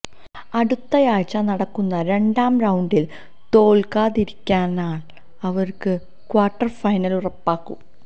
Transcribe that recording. അടുത്തയാഴ്ച നടക്കുന്ന രണ്ടാം റൌണ്ടില് തോല്ക്കാതിരുന്നാല് അവര്ക്ക് ക്വാര്ട്ടര് ഫൈനല് ഉറപ്പാകും